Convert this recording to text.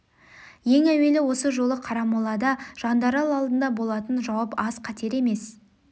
ең әуелі осы жолы қарамолада жандарал алдында болатын жауап аз қатер емес